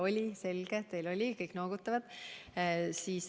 Oli, selge, kõik noogutavad.